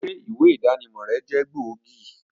Ṣé ìwé ìdánimọ̀ rẹ jẹ́ ògidì